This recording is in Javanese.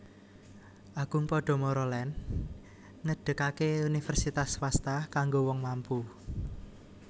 Agung Podomoro Land ngedegake universitas swasta kanggo wong mampu